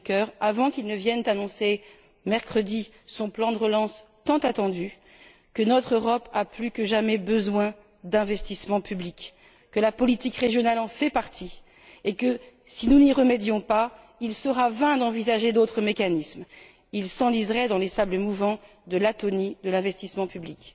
Juncker avant qu'il ne vienne annoncer mercredi son plan de relance tant attendu que notre Europe a plus que jamais besoin d'investissements publics, que la politique régionale en fait partie et que si nous ne n'y remédions pas, il sera vain d'envisager d'autres mécanismes, qui s'enliseraient dans les sables mouvants de l'atonie de l'investissement public.